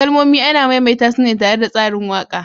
Kalmomi ana maimaita su ne tare da tsarin waƙa.